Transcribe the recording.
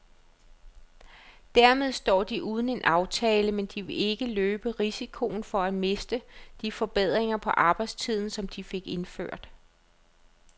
Dermed står de uden en aftale, men de vil ikke løbe risikoen for at miste de forbedringer på arbejdstiden, som de fik indført.